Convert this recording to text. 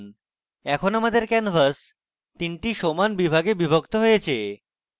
এখন আমাদের canvas 3 টি সমান বিভাগে বিভক্ত হয়েছে